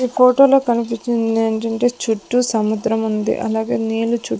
ఈ కోటోలో కనిపిచ్చిదేంటంటే చుట్టూ సముద్రముంది అలాగే నీళ్ళు చు--